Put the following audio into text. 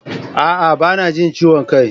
A'a! Ba na jin ciwon kai.